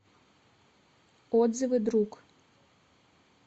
отзывы друг